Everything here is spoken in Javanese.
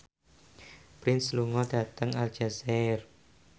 Prince lunga dhateng Aljazair